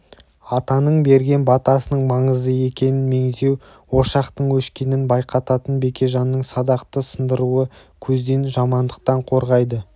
атаның берген батасының маңызды екенін меңзеу ошақтың өшкенін байқататын бекежанның садақты сындыруы көзден жамандықтан қорғайды